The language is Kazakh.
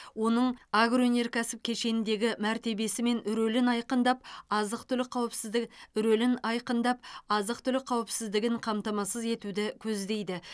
оның агро өнеркәсіп кешеніндегі мәртебесі мен рөлін айқындап азық түлік қауіпсіздігі рөлін айқындап азық түлік қауіпсіздігін қамтамасыз етуді көздейді